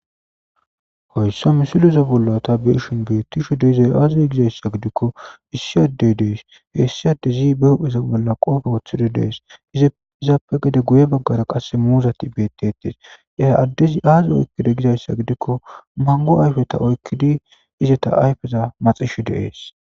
Hoyssa misiloza bollata beeshin beettishu deizay aaze gizayssa gidikko issi adde dees heessi addezi be hupheza bolla qoofe wothido dees izaappe gade guye baggara qasse muuzati bettettes ya addezi aaze oykkide gizayssa gidikko mango ayfeta oykkidi izeta ayfeza maxishu deees.